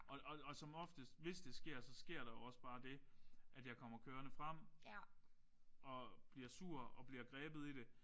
Og og og som oftest hvis det sker så sker der jo også bare det at hvis jeg kommer kørende frem og bliver sur og bliver grebet i det